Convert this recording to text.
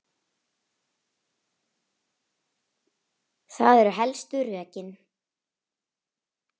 Það eru helstu rökin.